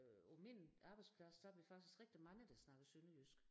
Øh på min arbejdsplads der er vi faktisk rigtig mange der snakker sønderjysk